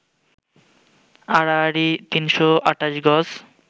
আড়াআড়ি ৩২৮ গজ